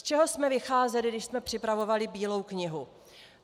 Z čeho jsme vycházeli, když jsme připravovali Bílou knihu?